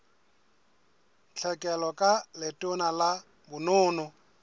tlhekelo ka letona la bonono